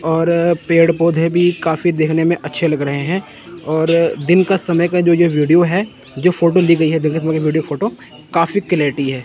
और पेड़ पौधे भी काफी देखने में अच्छे लग रहे हैं और दिन का समय का जो ये वीडियो है जो फोटो ली गई है दिन के समय का विडियो फोटो काफी क्लियरिटी है।